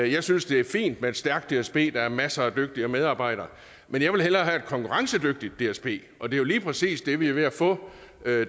jeg synes det er fint med et stærkt dsb der er masser af dygtige medarbejdere men jeg vil hellere have et konkurrencedygtigt dsb og det er jo lige præcis det vi er ved at få